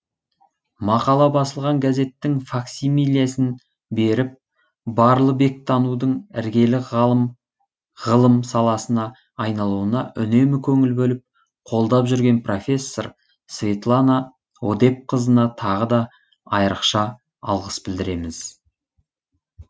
мақала басылған газеттің факсимилесін беріп барлыбек танудың іргелі ғылым саласына айналуына үнемі көңіл бөліп қолдап жүрген профессор светлана одепқызына тағы да айрықша алғыс білдіреміз